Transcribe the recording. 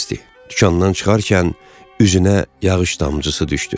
Dükandan çıxarkən üzünə yağış damcısı düşdü.